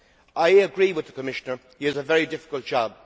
I agree with the Commissioner, he has a very difficult job.